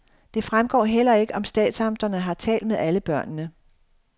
Det fremgår heller ikke, om statsamterne har talt med alle børnene.